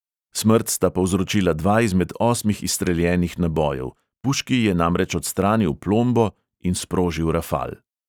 Smrt sta povzročila dva izmed osmih izstreljenih nabojev, puški je namreč odstranil plombo in sprožil rafal.